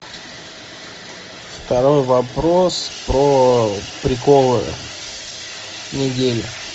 второй вопрос про приколы недели